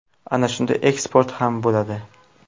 Ana shunda eksport ham bo‘ladi.